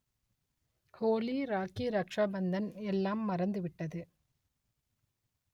ஹோலி ராக்கி ரக்ஷாபந்தன் எல்லாம் மறந்து விட்டது